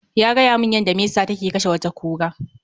Ya gayamun yada mesa ta kashe wata kura